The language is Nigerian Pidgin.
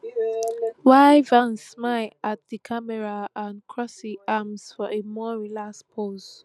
while vance smile at di camera and cross im arms for a more relaxed pose